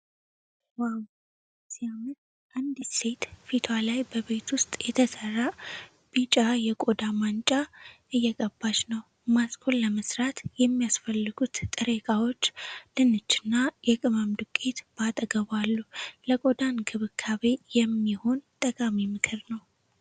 ዋው ሲያምር! አንዲት ሴት ፊቷ ላይ በቤት ውስጥ የተሰራ ቢጫ የቆዳ ማንጫ እየቀባች ነው። ማስኩን ለመስራት የሚያስፈልጉት ጥሬ እቃዎች፣ ድንች እና የቅመም ዱቄት፣ በአጠገቧ አሉ። ለቆዳ እንክብካቤ የሚሆን ጠቃሚ ምክር ነው።